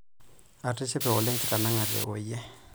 Atishipe oleng' kitanang'ate oyie.